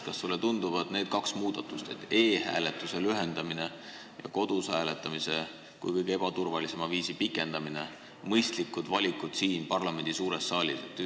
Kas sulle tunduvad need kaks muudatust, e-hääletuse aja lühendamine ja kodus hääletamise kui kõige ebaturvalisema hääletamisviisi aja pikendamine, mõistliku valikuna siin parlamendi suures saalis?